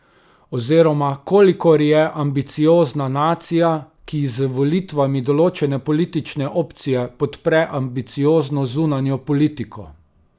Oziroma kolikor je ambiciozna nacija, ki z volitvami določene politične opcije podpre ambiciozno zunanjo politiko.